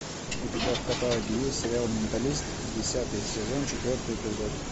у тебя в каталоге есть сериал менталист десятый сезон четвертый эпизод